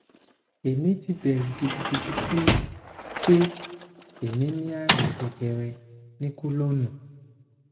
èmi ti bẹrù gidigidi pé pé èmi ní àrùn jejere ní kọlọnnù